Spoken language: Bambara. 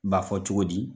Ba fɔ cogo di